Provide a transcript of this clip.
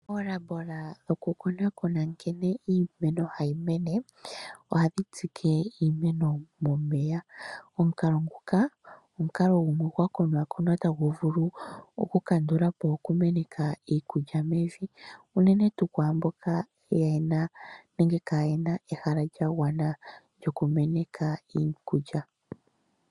Omahangano goku konakona nkene iimeno hayi mene, ohadhi tsike iimeno momeya. Omukalo nguka omukalo gumwe gwakonakonwa tagu vulu oku kandulapo okumenaka iikulya mevi, uunene tuu kwaamboka yena nenge kayena ehala lyagwana lyokumeneka iikulya.